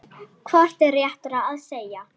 Hvort er réttara að segja